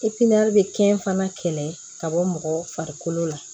bɛ kɛ fana kɛlɛ ka bɔ mɔgɔ farikolo la